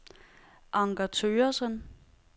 Anker Thøgersen